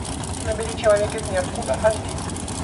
набери человек из ниоткуда аш ди